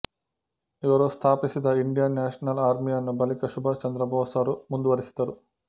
ಇವರು ಸ್ಥಾಪಿಸಿದ Indian national ಆರ್ಮಿಯನ್ನು ಬಳಿಕ ಸುಭಾಷ್ ಚಂದ್ರ ಬೋಸರು ಮುಂದುವರಿಸಿದರು